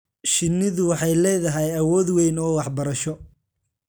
Shinnidu waxay leedahay awood weyn oo waxbarasho.